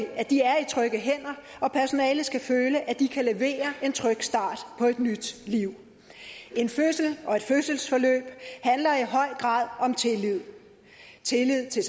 at de er i trygge hænder og personalet skal føle at de kan levere en tryg start på et nyt liv en fødsel og et fødselsforløb handler i høj grad om tillid tillid til